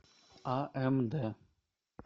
амд